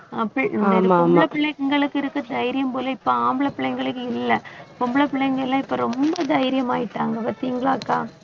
ஆஹ் பிள்~ இந்த இது பொம்பளை பிள்ளைங்களுக்கு இருக்குற தைரியம் போல இப்ப ஆம்பளைப் பிள்ளைங்களுக்கு இல்லை. பொம்பளை பிள்ளைங்க எல்லாம் இப்ப ரொம்ப தைரியம் ஆயிட்டாங்க பார்த்தீங்களாக்கா அக்கா